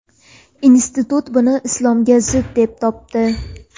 Institut buni islomga zid deb topdi.